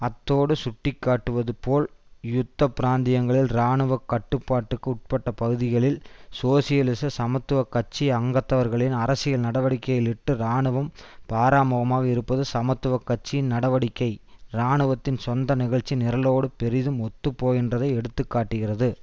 அத்தோடு சுட்டிக்காட்டுவது போல் யுத்த பிராந்தியங்களில் இராணுவ கட்டுப்பாட்டுக்கு உட்பட்ட பகுதிகளில் சோசியலிச சமத்துவ கட்சி அங்கத்தவர்களின் அரசியல் நடவடிக்கைகளிட்டு இராணுவம் பாராமுகமாக இருப்பது சமத்துவ கட்சியின் நடவடிக்கை இராணுவத்தின் சொந்த நிகழ்ச்சி நிரலோடு பெரிதும் ஒத்துப் போகின்றதை எடுத்து காட்டுகின்றது